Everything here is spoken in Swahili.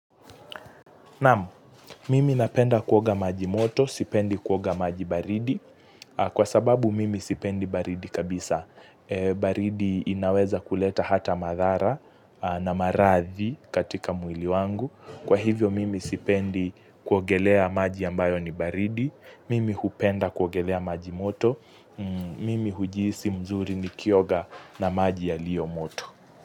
Naam, mimi napenda kuoga maji moto, sipendi kuoga maji baridi, kwa sababu mimi sipendi baridi kabisa. Baridi inaweza kuleta hata madhara na maradhi katika mwili wangu. Kwa hivyo mimi sipendi kuogelea maji ambayo ni baridi, mimi hupenda kuogelea maji moto, mimi hujihisi mzuri nikioga na maji yalio moto.